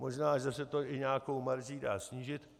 Možná že se to i nějakou marží dá snížit.